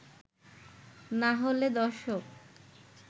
না হলে দর্শক